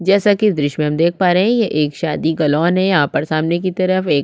जैसा की इस द्र्श्य में हम देख पा रहै हैं यह एक शादी का लोन हैं यहाँ पर सामने की तरफ एक --